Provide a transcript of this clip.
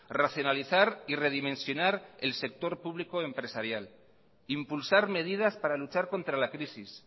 racionalizar y redimensionar el sector público empresarial impulsar medidas para luchar contra la crisis